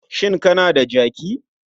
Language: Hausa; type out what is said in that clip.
Shin kana da jaki?